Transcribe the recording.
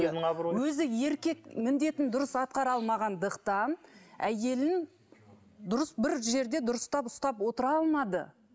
өзі еркек міндетін дұрыс атқара алмағандықтан әйелін дұрыс бір жерде дұрыстап ұстап отыра алмады